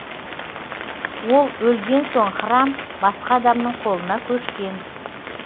ол өлген соң храм басқа адамның қолына көшкен